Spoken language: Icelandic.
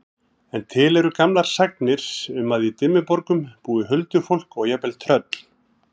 En til eru gamlar sagnir um að í Dimmuborgum búi huldufólk og jafnvel tröll.